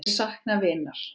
Ég sakna vinar.